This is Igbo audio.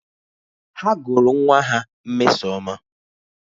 Ha gụrụ nwa ha Mmesoma